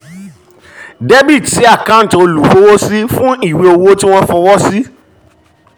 dr sí àkáǹtì olúfọwọ́sí fún ìwé owó tí wọ́n fọwọ́ sí